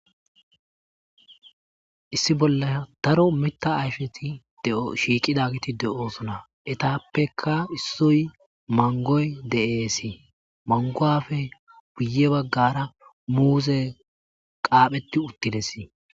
issi bolla daro mita ayfeti de'o shiiqidagiti de'oosona etappeka issoy mangoy de'eesi manguwafe guye baggara muuzey qaapheti uttidesi